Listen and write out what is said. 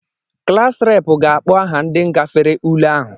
Klas Rep ga-akpọ aha ndị gafere ule ahụ